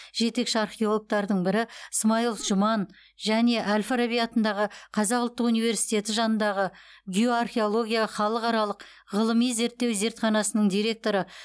жетекші археологтардың бірі смайлов жұман және әл фараби атындағы қазақ ұлттық университеті жанындағы геоархеология халықаралық ғылыми зерттеу зертханасының директоры